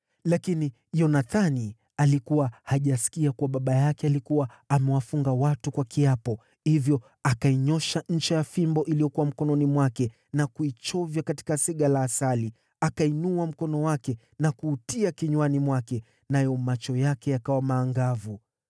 Lakini Yonathani alikuwa hajasikia kuwa baba yake alikuwa amewafunga watu kwa kiapo, hivyo akainyoosha ncha ya fimbo iliyokuwa mkononi mwake na kuichovya katika sega la asali. Akainua mkono wake na kuutia kinywani mwake, nayo macho yake yakawa maangavu.